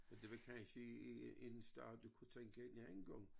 Men det var kansje i i en sted du kunne tænke en anden gang